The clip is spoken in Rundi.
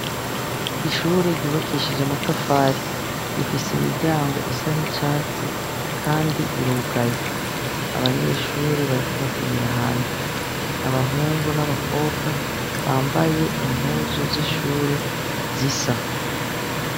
Ishuri ryubakishije amatafari . Rifise imiryango isa nicatsi kandi irugaye. Abanyeshure bariko bakinira hanze. Abahungu n'abakobwa bambaye impuzu z'ishure zisa.